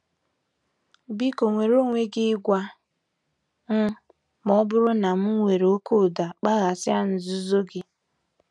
Biko nweere onwe gị ịgwa m ma ọ bụrụ na m were oke ụda kpaghasịa nzuzo gị.